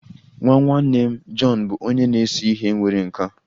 Nwa nwanne m, John bụ onye na-ese ihe nwere nkà